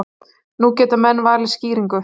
Nú geta menn valið skýringu.